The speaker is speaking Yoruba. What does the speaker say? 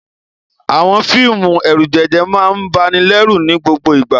Àwọn fíìmù ẹ̀rùjẹ̀jẹ̀ máa ń banilẹ́rù ní gbogbo ìgbà.